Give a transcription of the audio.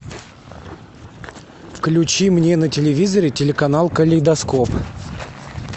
включи мне на телевизоре телеканал калейдоскоп